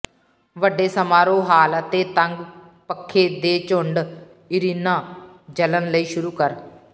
ਵੱਡੇ ਸਮਾਰੋਹ ਹਾਲ ਅਤੇ ਤੰਗ ਪੱਖੇ ਦੇ ਝੁੰਡ ਇਰੀਨਾ ਜਲਣ ਲਈ ਸ਼ੁਰੂ ਕਰ